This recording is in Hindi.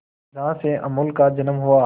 जहां से अमूल का जन्म हुआ